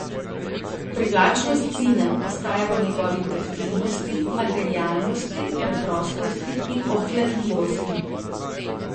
Privlačnost zina ostaja v njegovi taktilnosti, materialnosti, preprostosti in obvladljivosti.